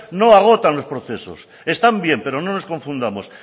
no agotan los procesos están bien pero no nos confundamos